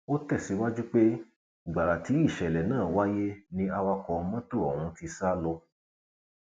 ó tẹsíwájú pé gbàrà tí ìṣẹlẹ náà wáyé ni awakọ mọtò ọhún ti sá lọ